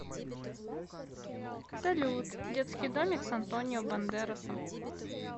салют детский домик с антонио бандерасом